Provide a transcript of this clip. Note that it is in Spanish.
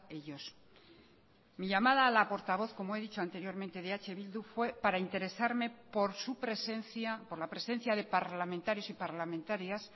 ellos mi llamada a la portavoz como he dicho anteriormente de eh bildu fue para interesarme por su presencia por la presencia de parlamentarios y parlamentarias